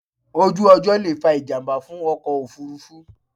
Ojú ọjọ́ lè fa ìjàmbá fún ọkọ̀ òfúrufú